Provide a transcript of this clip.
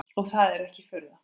Og er það ekki furða.